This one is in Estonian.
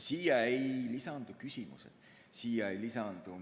Siin ei sisaldu küsimused.